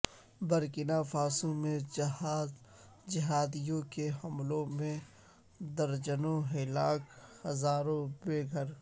Burkina Faso میں جہادیوں کے حملوں میں درجنوں ہلاک ہزاروں بے گھر